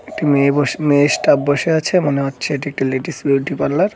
একটি মেয়ে বসে মেয়ে স্টাফ বসে আছে মনে হচ্ছে এটি একটি লেডিস বিউটি পার্লার ।